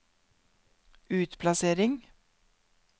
utplassering